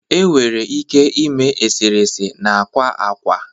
enwere ike ime eserese na akwa akwa